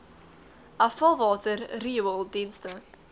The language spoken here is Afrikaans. afvalwater riool dienste